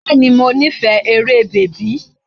Bẹ́ẹ̀ni, mo nífẹ̀ẹ́ eré bèbí.